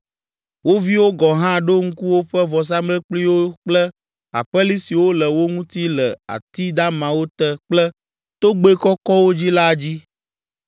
Wo viwo gɔ̃ hã ɖo ŋku woƒe vɔsamlekpuiwo kple aƒeli siwo le wo ŋuti le ati damawo te kple togbɛ kɔkɔwo dzi la dzi.